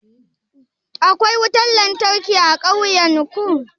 Akwai wutan lantarki a ƙauyan ku?